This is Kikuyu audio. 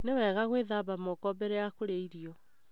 Nĩwega gũthambia moko mbere ya kũria irio.